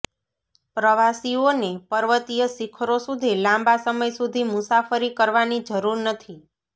પ્રવાસીઓને પર્વતીય શિખરો સુધી લાંબા સમય સુધી મુસાફરી કરવાની જરૂર નથી